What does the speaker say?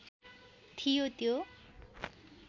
थियो त्यो